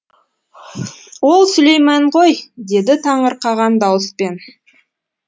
ой сүлеймен ғой деді таңырқаған дауыспен